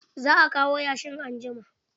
Za a kawo yashin anjima.